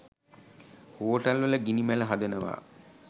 හෝටල්වල ගිනි මැල හදනවා.